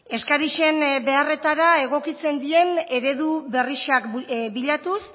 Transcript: eskarixen beharretara egokixen dien eredu berrixak bilatuz